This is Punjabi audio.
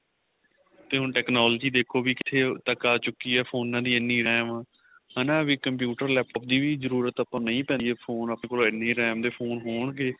ਤੇ ਹੁਣ technology ਦੇਖੋ ਵੀ ਕਿੱਥੇ ਤੱਕ ਆ ਚੁਕੀ ਏ ਫੋਨਾ ਦੀ ਇੰਨੀ RAM ਹਨਾ ਵੀ computer laptop ਦੀ ਵੀ ਜਰੂਰਤ ਆਪਾਂ ਨੂੰ ਨਹੀਂ ਪੈਂਦੀ phone ਆਪਣੇ ਕੋਲ ਇੰਨੀ RAM ਦੇ phone ਹੋਣਗੇ